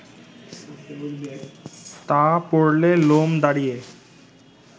তা পড়লে লোম দাঁড়িয়ে